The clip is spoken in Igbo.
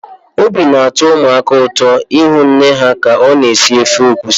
Obi dị ụmụaka ụtọ ịhụ nne ha ka ọ na-esi ofe egusi.